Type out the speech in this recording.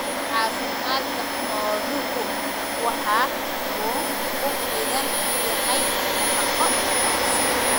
Caafimaadka xooluhu waxa uu ku xidhan yahay nafaqo wanaagsan.